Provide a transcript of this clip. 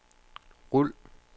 rul